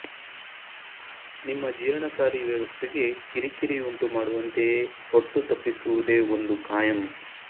ನಿಮ್ಮ ಜೀರ್ಣಕಾರಿ ವ್ಯವಸ್ಥೆಗೆ ಕಿರಿಕಿರಿಯುಂಟುಮಾಡುವಂತೆಯೇ ಹೊಟ್ಟು ತಪ್ಪಿಸುವುದೇ ಒಂದು ಕಾಯಂ